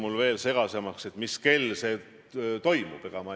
Olgu see siis seotud pensionäridega, vähemustega või millega iganes.